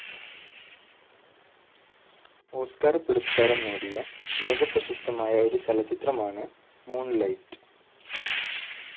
Oscar പുരസ്കാരം നേടിയ ലോക പ്രശസ്തമായ ഒരു ചലചിത്രമാണ് മൂൺലൈറ്റ്.